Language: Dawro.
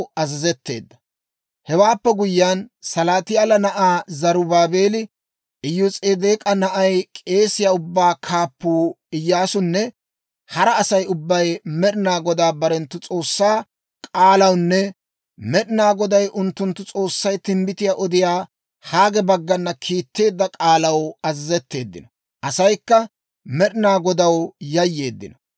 Hewaappe guyyiyaan, Salaatiyaala na'ay Zarubaabeeli, Iyos'edeek'a na'ay, k'eesiyaa ubbatuu kaappuu Iyyaasunne hara Asay ubbay Med'inaa Godaa barenttu S'oossaa k'aalawunne Med'inaa Goday unttunttu S'oossay timbbitiyaa odiyaa Haage baggana kiitteedda k'aalaw azazetteeddino; asaykka Med'inaa Godaw yayyeeddino.